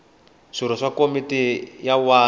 swirho swa komiti ya wadi